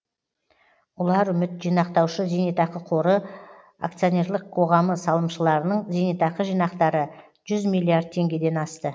ұларүміт жинақтаушы зейнетақы қоры акционерлік қоғамының салымшыларының зейнетақы жинақтары жүз миллиард теңгеден асты